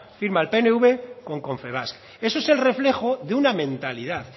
firma el pnv con confebask eso es el reflejo de una mentalidad